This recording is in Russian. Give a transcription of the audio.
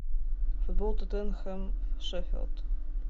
футбол тоттенхэм шеффилд